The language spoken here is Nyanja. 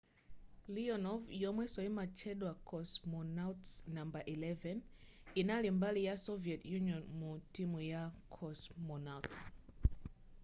leonov yomwenso yimatchedwa cosmonauts no 11 yinali mbali ya soviet union mu timu ya cosmonauts